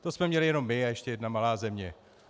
To jsme měli jenom my a ještě jedna malá země.